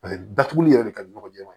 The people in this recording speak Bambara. Paseke datuguli yɛrɛ de ka di n ɲɔgɔnjɛ